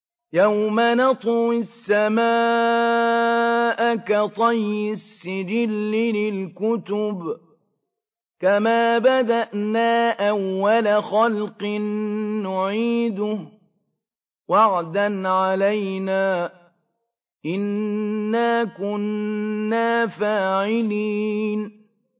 يَوْمَ نَطْوِي السَّمَاءَ كَطَيِّ السِّجِلِّ لِلْكُتُبِ ۚ كَمَا بَدَأْنَا أَوَّلَ خَلْقٍ نُّعِيدُهُ ۚ وَعْدًا عَلَيْنَا ۚ إِنَّا كُنَّا فَاعِلِينَ